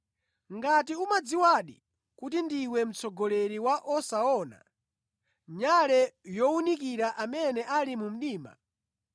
ngati umadziwadi kuti ndiwe mtsogoleri wa osaona, nyale yowunikira amene ali mu mdima,